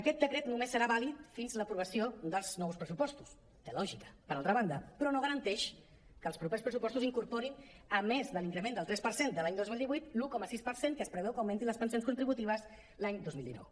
aquest decret només serà vàlid fins l’aprovació dels nous pressupostos té lògica per altra banda però no garanteix que els propers pressupostos incorporin a més de l’increment del tres per cent de l’any dos mil divuit l’un coma sis per cent que es preveu que augmentin les pensions contribu·tives l’any dos mil dinou